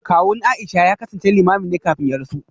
Kawun Aisha ya kasance Limamin ne kafin ya rasu